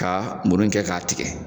Ka muru in kɛ k'a tigɛ